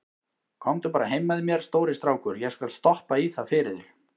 Komdu bara heim með mér, stóri strákur, ég skal stoppa í það fyrir þig.